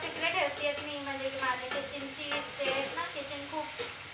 तिकडे ठेवते ए किनी म्हनजे ते आहेत न kitchen खूप